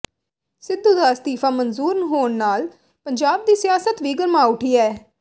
ਸਿੱਧੂ ਦਾ ਅਸਤੀਫਾ ਮਨਜੂਰ ਹੋਣ ਨਾਲ ਪੰਜਾਬ ਦੀ ਸਿਆਸਤ ਵੀ ਗਰਮਾ ਉਠੀ ਐ